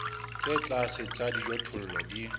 tse tlase tsa dijothollo di